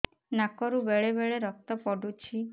ନାକରୁ ବେଳେ ବେଳେ ରକ୍ତ ପଡୁଛି